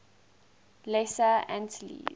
lesser antilles